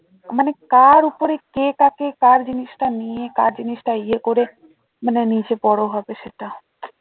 মানে কার ওপরে কে কাকে কার জিনিসটা নিয়ে কার জিনিসটা ইয়ে করে মানে নিজে বড়ো হবে সেটা